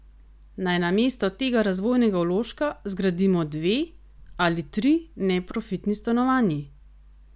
Naj namesto tega razvojnega vložka zgradimo dve, ali tri, neprofitni stanovanji?